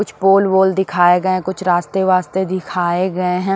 कुछ पोल वोल दिखाए गए हैं कुछ रास्ते-वास्ते दिखाए गए हैं।